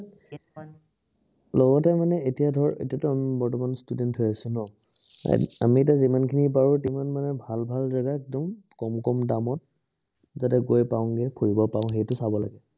লগতে মানে এতিয়া ধৰ, এতিয়াতো আমি বৰ্তমান student হৈ আছো ন, আমি এতিয়া যিমানখিনি পাৰো মানে ভাল ভাল জাগে কম কম দামত, যাতে গৈ পাওঁগে, ঘূৰিব পাৰো, সেইটো চাব লাগে।